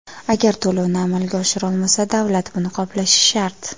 Agar to‘lovni amalga oshirolmasa, davlat buni qoplashi shart.